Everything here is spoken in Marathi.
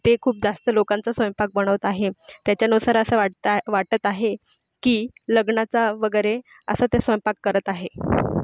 ते खूप जास्त लोकांचा स्वयंपाक बनवत आहेत त्याच्यानुसार असं वाटता वाटत आहे की लग्नाचा वगैरे असं ते स्वयंपाक करत आहे.